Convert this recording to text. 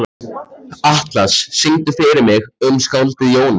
Atlas, syngdu fyrir mig „Um skáldið Jónas“.